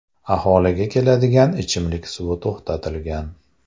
Aholiga keladigan ichimlik suvi to‘xtatilgan.